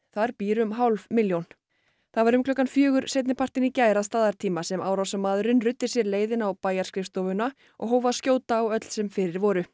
þar býr um hálf milljón það var um klukkan fjögur seinnipartinn í gær að staðartíma sem árásarmaðurinn ruddi sér leið inn á bæjarskrifstofuna og hóf að skjóta á öll sem fyrir voru